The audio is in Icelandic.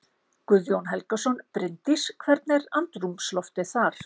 Guðjón Helgason: Bryndís, hvernig er andrúmsloftið þar?